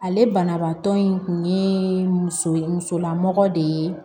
Ale banabaatɔ in kun ye muso ye musolamɔgɔ de ye